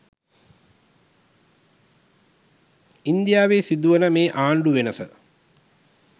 ඉන්දියාවේ සිදුවන මේ ආණ්ඩු වෙනස